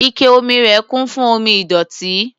Ike omi rẹ̀ kún fún omi ìdọ̀tí.